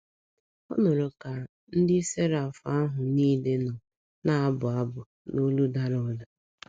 Ọ nụrụ ka ndị seraf ahụ niile nọ na - abụ abụ n’olu dara ụda.